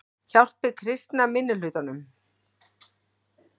Hjálpi kristna minnihlutanum